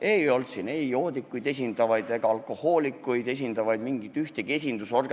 Ei olnud kohal ei lihtsalt joodikuid ega alkohoolikuid esindavaid organisatsioone.